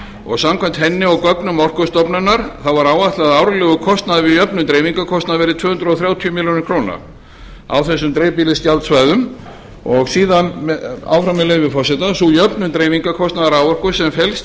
og samkvæmt henni og gögnum orkustofnunar var áætlað að árlegur kostnaður við jöfnun dreifingarkostnaðar yrði tvö hundruð þrjátíu milljónir króna á þessum dreifibýlisgjaldsvæðum síðan áfram með leyfi forseta sú jöfnun dreifingarkostnaðar raforku sem felst í